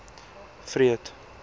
freud